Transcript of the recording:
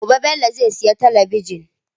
Gobe Bello zai sayi talabijin.